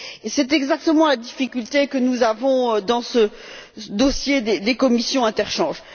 C'est exactement la difficulté que nous avons dans ce dossier des commissions d'interchange.